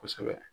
Kosɛbɛ